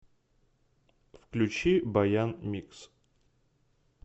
включи баян микс